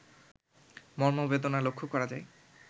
মর্মবেদনা লক্ষ্য করা যায়